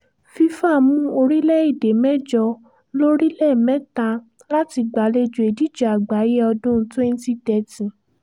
fífà mú orílẹ̀‐èdè mẹ́jọ lórílẹ̀ mẹ́ta láti gbàlejò ìdíje àgbáyé ọdún twenty thirty